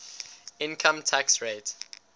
income tax rate